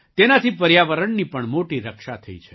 તેનાથી પર્યાવરણની પણ મોટી રક્ષા થઈ છે